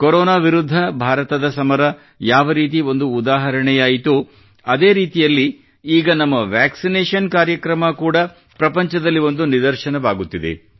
corona ವಿರುದ್ಧ ಭಾರತದ ಸಮರ ಯಾವರೀತಿ ಒಂದು ಉದಾಹರಣೆಯಾಯಿತೋ ಅದೇ ರೀತಿಯಲ್ಲಿ ಈಗ ನಮ್ಮ ವ್ಯಾಕ್ಸಿನೇಷನ್ ಕಾರ್ಯಕ್ರಮ ಕೂಡಾ ಪ್ರಪಂಚದಲ್ಲಿ ಒಂದು ನಿದರ್ಶನವಾಗುತ್ತಿದೆ